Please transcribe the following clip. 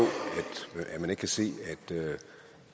at man ikke kan se